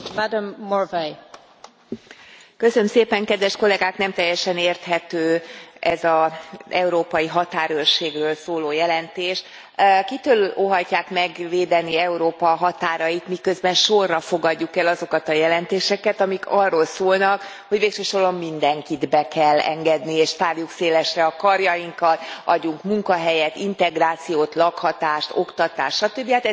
Elnök Asszony, nem teljesen érthető ez az európai határőrségről szóló jelentés. Kitől óhajtják megvédeni Európa határait, miközben sorra fogadjuk el azokat a jelentéseket, amik arról szólnak, hogy végső soron mindenkit be kell engedni és tárjuk szélesre a karjainkat, adjunk munkahelyet, integrációt, lakhatást, oktatást stb.